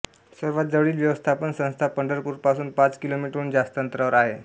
सर्वात जवळील व्यवस्थापन संस्था पंढरपूरपासून पाच किलोमीटरहून जास्त अंतरावर आहे